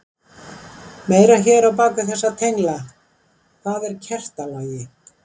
Meira hér bak við þessa tengla: Hvað er kertalogi?